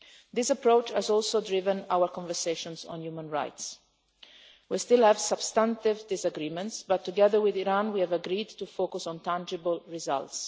This approach has also driven our conversations on human rights. We still have substantive disagreements but, together with Iran, we have agreed to focus on tangible results.